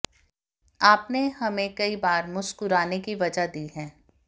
आपने हमें कई बार मुस्कुराने की वजह दी है